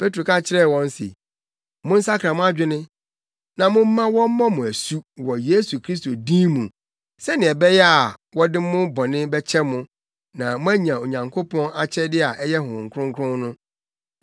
Petro ka kyerɛɛ wɔn se, “Monsakra mo adwene na momma wɔmmɔ mo asu wɔ Yesu Kristo din mu sɛnea ɛbɛyɛ a wɔde mo bɔne bɛkyɛ mo na moanya Onyankopɔn akyɛde a ɛyɛ Honhom Kronkron no.